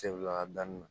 Segu yanni